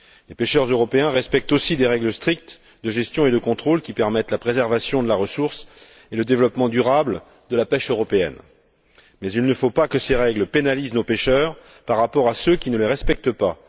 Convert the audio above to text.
Les pêcheurs européens respectent aussi des règles strictes de gestion et de contrôle qui permettent la préservation de la ressource et le développement durable de la pêche européenne, mais il ne faut pas que ces règles pénalisent nos pêcheurs par rapport à ceux qui ne les respectent pas.